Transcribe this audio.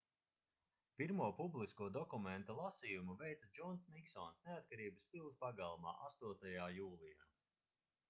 pirmo publisko dokumenta lasījumu veica džons niksons neatkarības pils pagalmā 8. jūlijā